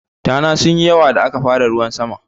Tana sunyi yawa da aka fara ruwan sama.